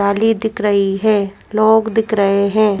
Family दिख रही है लोग दिख रहे है।